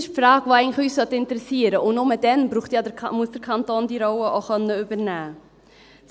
– Diese Frage sollte uns eigentlich interessieren, und nur dann muss der Kanton diese Rolle auch übernehmen können.